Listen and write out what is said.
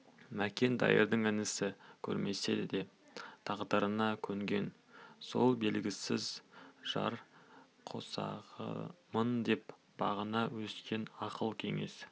мәкен дайырдың інісін көрмесе де тағдырына көнген сол белгісіз жар қосағымын деп бағына өскен ақыл кеңес